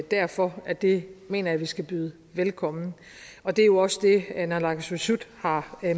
derfor at det mener jeg vi skal byde velkommen og det er jo også det naalakkersuisut har